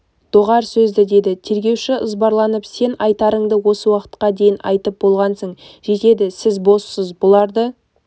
доғар сөзді деді тергеуші ызбарланып сен айтарыңды осы уақытқа дейін айтып болғансың жетеді сіз боссыз бұларды